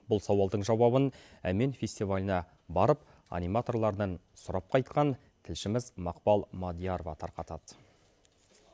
бұл сауалдың жауабын әмен фестиваліне барып аниматорлардан сұрап қайтқан тілшіміз мақпал мәдиярова тарқатады